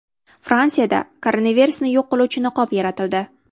Fransiyada koronavirusni yo‘q qiluvchi niqob yaratildi.